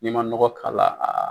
N'i ma nɔgɔ kala a a.